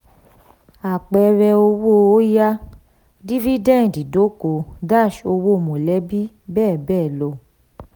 apẹẹrẹ owó oya: dividend idoko-owo mọlẹbi bẹ́ẹ̀ bẹ́ẹ̀ lọ.